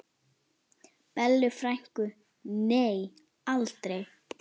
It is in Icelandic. Bellu frænku, nei aldrei.